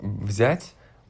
взять